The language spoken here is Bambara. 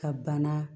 Ka bana